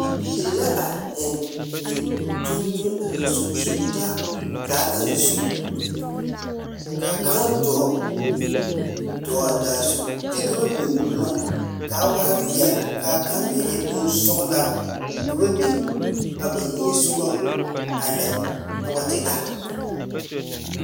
Bibiiri la a zeŋ zeŋ kyoŋ kyoŋ zeŋ sugili sugili taa daa kaŋa zu. Kaa kaŋ dͻͻ, dͻͻ a daa zu kyԑ ka ba biŋ boma kaa waa peԑle , kaa kaŋ meŋ e bonsͻgelaa ka ba biŋ a ba niŋe sͻgoŋ a lԑ a wat e gaa.